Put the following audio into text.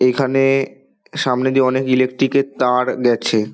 এখানে সামনে দিয়ে অনেক ইলেকট্রিক এর তার গেছে।